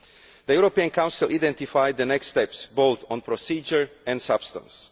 The European Council identified the next steps, both on procedure and on substance.